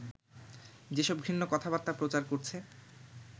যেসব ঘৃণ্য কথাবার্তা প্রচার করছে